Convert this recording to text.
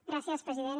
gràcies president